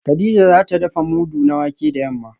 kadija za ta dafa mudu na wake da yamma